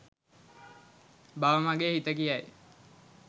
බව මගේ හිත කියයි.